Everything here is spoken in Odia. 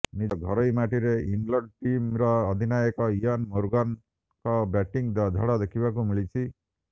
ନଜ ଘରୋଇ ମାଟିରେ ଇଂଲଣ୍ଡଟିମ୍ର ଅଧିନାୟକ ଇୟନ୍ ମୋର୍ଗାନଙ୍କ ବ୍ୟାଟିଂ ଝଡ଼ ଦେଖିବାକୁ ମିଳିଛି